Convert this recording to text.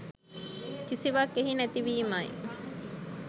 කිසිවක් එහි නැති වීමයි.